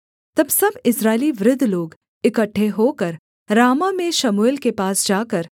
तब सब इस्राएली वृद्ध लोग इकट्ठे होकर रामाह में शमूएल के पास जाकर